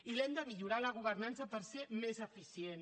i l’hem de millorar la governança per ser més eficients